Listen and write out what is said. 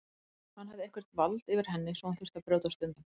Hann hafði eitthvert vald yfir henni sem hún þurfti að brjótast undan.